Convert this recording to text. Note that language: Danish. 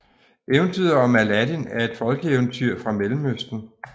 Eventyret om Aladdin er et folkeeventyr fra Mellemøsten